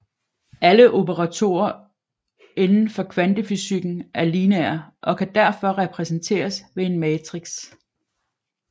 Alle operatorer inden for kvantefysikken er lineære og kan derfor repræsenteres ved en matrix